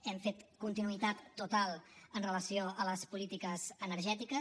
hem fet continuïtat total amb relació a les polítiques energètiques